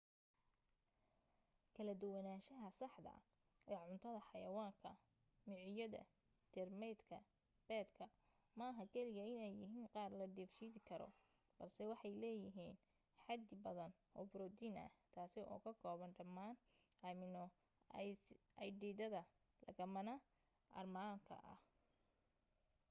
kala duwanaansha saxda ee cuntada xayawaanka micooyada teermaydka beedka maaha kaliya inay yihiin qaar la dheefshiidi karo balse waxay leeyihiin xadi badan oo borotiin ah taasi oo ka kooban dhamaan amino aydhiidhada lagama maarmaanka ah